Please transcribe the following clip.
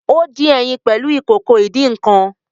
O din ẹyin pẹlu Ìkòkò ìdín-nǹkan